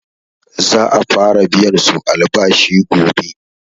Za'a fara biyan su albashi gobe.